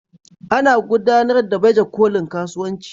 Ana gudanar da baje kolin kasuwanci.